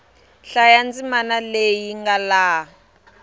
hlaya ndzimana leyi nga laha